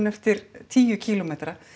eftir tíu kílómetra